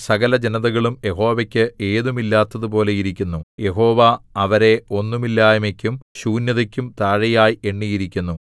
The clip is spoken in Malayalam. സകലജനതകളും യാഹോവയ്ക്ക് ഏതുമില്ലാത്തതുപോലെ ഇരിക്കുന്നു യഹോവ അവരെ ഒന്നുമില്ലായ്മയ്ക്കും ശൂന്യതയ്ക്കും താഴെയായി എണ്ണിയിരിക്കുന്നു